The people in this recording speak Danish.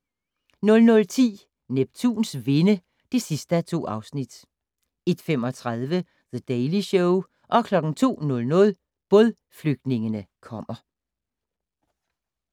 00:10: Neptuns vinde (2:2) 01:35: The Daily Show 02:00: Bådflygtningene kommer